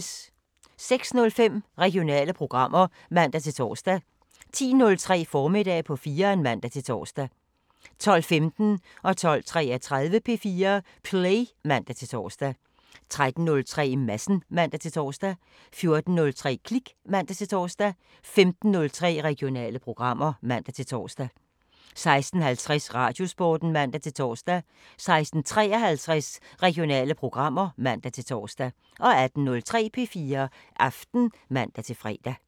06:05: Regionale programmer (man-tor) 10:03: Formiddag på 4'eren (man-tor) 12:15: P4 Play (man-tor) 12:33: P4 Play (man-tor) 13:03: Madsen (man-tor) 14:03: Klik (man-tor) 15:03: Regionale programmer (man-tor) 16:50: Radiosporten (man-tor) 16:53: Regionale programmer (man-tor) 18:03: P4 Aften (man-fre)